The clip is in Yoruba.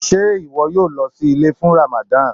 Ṣé iwọ yóò lọ sí ilẹ̀ fún Rámádān?